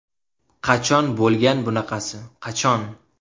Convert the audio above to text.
Qachon bo‘lgan bunaqasi, qachon?